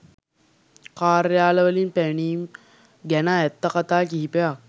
කාර්යාල වලින් පැනීම් ගැන ඇත්ත කතා කිහිපයක්